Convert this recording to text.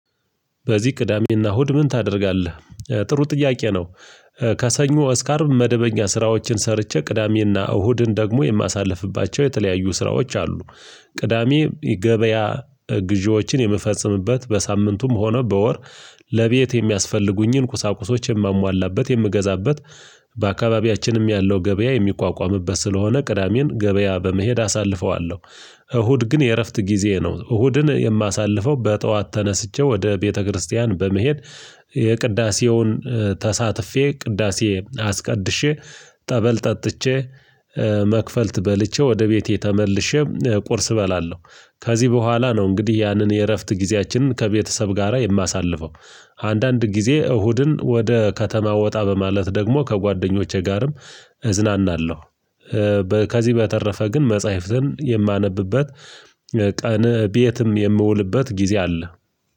በዚህ ቅዳሜና እሁድ ምን ታደርጋለ? ጥሩ ጥያቄ ነው ከሰኞ እስከ አርብ መደበኛ ስራዎችን ሰርቼ ቅዳሜና እሁድን ደግሞ የማሳልፍባቸው የተለያዩ ስራዎች አሉ፤ ቅዳሜ ገበያ ግዢዎችን የምፈጽምበት በሳምንቱም ሆነ በወር ለቤት የሚያስፈልጉኝን ቁሳቁሶች የማሟላበት የምገዛበት በአካባቢያችንም ያለው ገበያ የሚቋቋምበት ስለሆነ ቅዳሜን ገበያ በመሄድ አሳልፈዋለሁ፤ እሁድ ግን የእረፍት ጊዜ ነው እሁድን የማሳልፈው በጠዋት ተነስቼ ወደ ቤተክርስቲያን በመሄድ የቅዳሴውን ተሳትፌ ቅዳሴ አስቀድሼ ጠበል ጠጥቼ መክፈልት በልቼ ወደ ቤቴ ተመልሼ ቁርስ እበላለሁ ከዚህ በኋላ ነው እንግዲህ ያንን የእረፍት ጊዜያችንን ከቤተሰብ ጋራ የማሳልፈው አንዳንድ ጊዜ እሁድን ወደ ከተማ ወጣ በማለት ደግሞ ከጓደኞቼ ጋርም እዝናናለሁ፤ ከዚህ በተረፈ ግን መጽሐፍትን የማነብበት ቀን ቤትም የምውልበት ጊዜ አለ